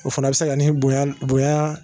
O fana a bɛ se ka ni bonya